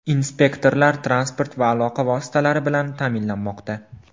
Inspektorlar transport va aloqa vositalari bilan ta’minlanmoqda.